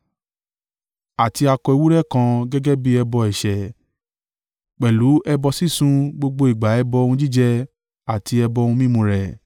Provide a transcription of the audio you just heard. Àti akọ ewúrẹ́ kan gẹ́gẹ́ bí ẹbọ ẹ̀ṣẹ̀, pẹ̀lú ẹbọ sísun gbogbo ìgbà ẹbọ ohun jíjẹ àti ẹbọ ohun mímu rẹ̀.